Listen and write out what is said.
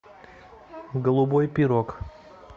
голубой пирог